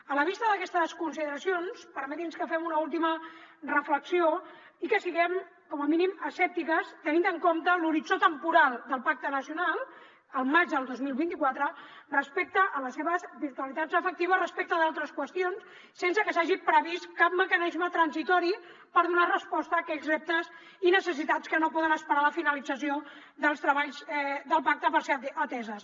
a la vista d’aquestes consideracions permeti’ns que fem una última reflexió i que siguem com a mínim escèptiques tenint en compte l’horitzó temporal del pacte nacional al maig del dos mil vint quatre respecte a les seves virtualitats efectives respecte a d’altres qüestions sense que s’hagi previst cap mecanisme transitori per donar resposta a aquells reptes i necessitats que no poden esperar la finalització dels treballs del pacte per ser ateses